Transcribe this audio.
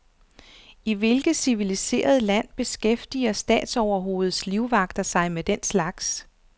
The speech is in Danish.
I hvilket civiliseret land beskæftiger statsoverhovedets livvagter sig med den slags.